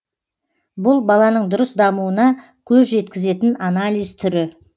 бұл баланың дұрыс дамуына көз жеткізетін анализ түрі